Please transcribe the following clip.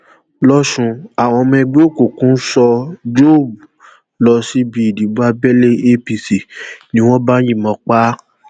lọsùn àwọn ọmọ ẹgbẹ òkùnkùn so job lọ síbi ìdìbò abẹlé apc ni wọn bá yìnbọn pa á